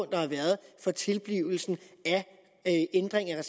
der har været for tilblivelsen af ændringen af